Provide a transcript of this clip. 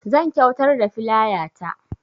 Zan kyuatar da filaya ta